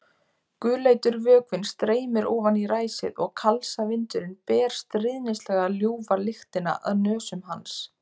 Gulleitur vökvinn streymir ofan í ræsið og kalsavindurinn ber stríðnislega ljúfa lyktina að nösum hans.